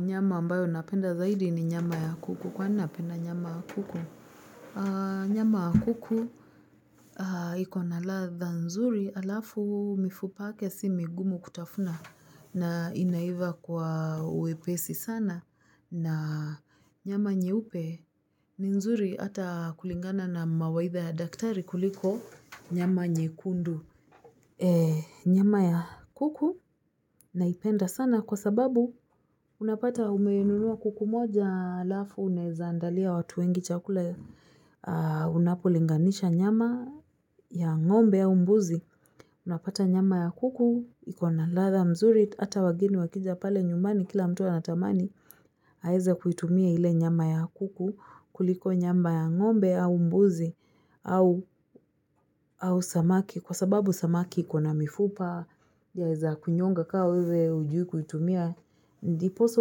Nyama ambayo napenda zaidi ni nyama ya kuku. Kwani napenda nyama ya kuku? Nyama ya kuku ikona ladha nzuri alafu mifupa yake si migumu kutafuna na inaiva kwa wepesi sana. Na nyama nyeupe ni nzuri hata kulingana na mawaidha ya daktari kuliko nyama nyekundu. Nyama ya kuku naipenda sana kwa sababu unapata umenunua kuku moja alafu unaeza andalia watu wengi chakula unapolinganisha nyama ya ng'ombe au mbuzi unapata nyama ya kuku ikona ladha mzuri ata wageni wakija pale nyumani kila mtu anatamani aeze kuitumia ile nyama ya kuku kuliko nyamba ya ng'ombe au mbuzi au samaki kwa sababu samaki ikona mifupa yaeza kunyonga kaa wewe hujui kuitumia ndiposa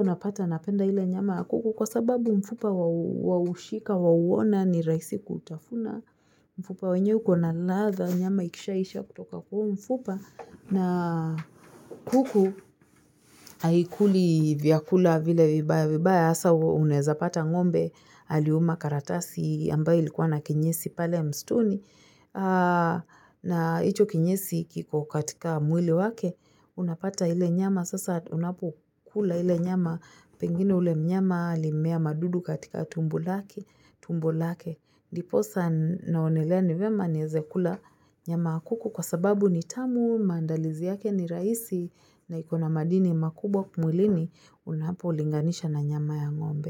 unapata napenda ile nyama ya kuku kwa sababu mfupa waushika, wauona ni rahisi kutafuna mfupa wenyewe ukona ladha nyama ikishaisha kutoka kwa huo mfupa na kuku haikuli vyakula vile vibaya hasa unaeza pata ng'ombe aliuma karatasi ambayo ilikuwa na kinyesi pale msituni na hicho kinyesi kiko katika mwili wake unapata ile nyama sasa unapokula ile nyama pengine ule mnyama alimea madudu katika tumbo lake, ndiposa naonelea ni vyema niweze kula nyama ya kuku kwa sababu ni tamu, maandalizi yake ni rahisi na ikona madini makubwa mwilini unapolinganisha na nyama ya ng'ombe.